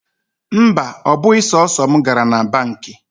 Mba, ọ bụghị sọsọ mụ gara na banki.